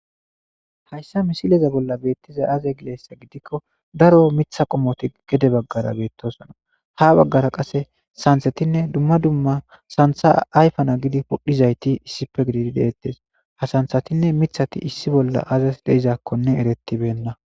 Hayssa misileza bolla beettiza aze gideessa gidikko daro mitha qommoti gede baggara beettosona ha baggara qasse santhetinne dumma dumma santha ayfana gidi podhizayti issife gididi deettes ha santhatinne mithati issi bolla azas deizakkonne erettibenna.